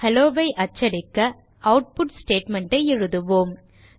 hello ஐ அச்சடிக்க output statement ஐ எழுதுவோம்